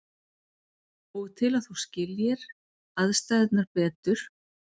Og til að þú skiljir aðstæðurnar betur.